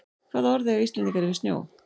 Hvaða orð eiga Íslendingar yfir snjó?